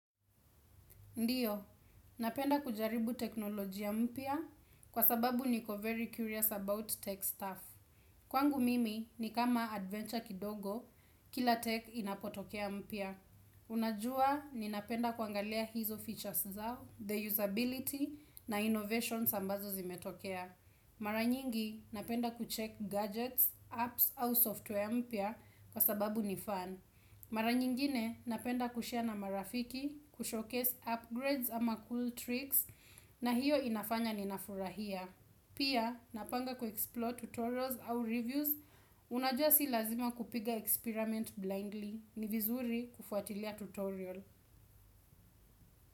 Ndiyo, napenda kujaribu teknolojiya mpia kwa sababu niko very curious about tech staff. Kwangu mimi ni kama adventure kidogo, kila tech inapotokea mpia. Unajua, ninapenda kuangalia hizo features zao, the usability na innovation sambazo zimetokea. Mara nyingi, napenda kuchek gadgets, apps au software ya mpya kwa sababu ni fan. Mara nyingine napenda kushea na marafiki, kushowcase upgrades ama cool tricks na hiyo inafanya ninafurahia. Pia napanga kuexplore tutorials au reviews, unajua si lazima kupiga experiment blindly ni vizuri kufuatilia tutorial.